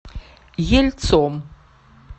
ельцом